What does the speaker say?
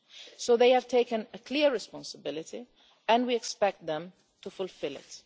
So they have taken a clear responsibility and we expect them to fulfil it.